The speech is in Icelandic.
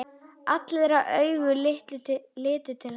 Allra augu litu til hennar.